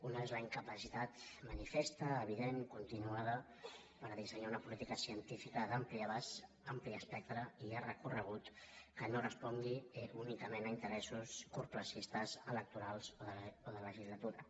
un és la incapacitat manifesta evident continuada per dissenyar una política científica d’ampli abast ampli espectre i llarg recorregut que no respongui únicament a interessos curtterministes electorals o de legislatura